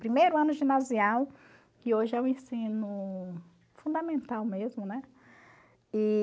Primeiro ano ginasial, que hoje é o ensino fundamental mesmo, né? E...